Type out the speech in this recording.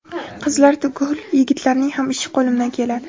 Qizlar tugul yigitlarning ham ishi qo‘limdan keladi.